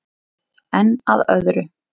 Að enn öðru.